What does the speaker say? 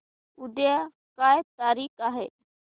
उद्या काय तारीख आहे